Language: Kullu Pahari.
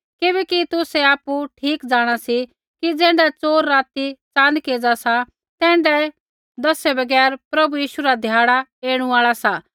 किबैकि तुसै आपु ठीक जाँणा सी कि ज़ैण्ढा च़ोर राती च़ानक एज़ा सा तैण्ढाऐ दसै बगैर प्रभु यीशु रा ध्याड़ा ऐणु आल़ा सा